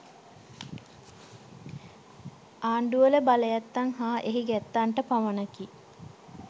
ආණ්ඩුවල බලයැත්තන් හා එහි ගැත්තන්ට පමණකි